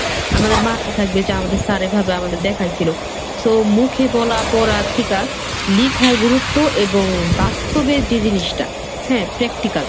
আমাদের মাথায় থাকবে যে আমাদের sir এইভাবে দেখাই ছিল। so, মুখে বলা, পড়ার থিকা লিখার গুরুত্ব এবং বাস্তবে যে জিনিসটা হ্যাঁ practical